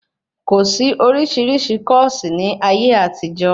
Kòsí oríṣiríṣi kọ́ọ̀sí ní ayé àtijó